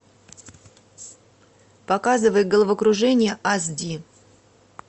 показывай головокружение ас ди